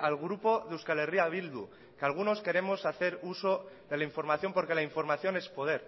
al grupo de euskal herria bildu que algunos queremos hacer uso de la información porque la información es poder